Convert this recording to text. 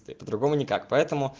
по-другому никак поэтому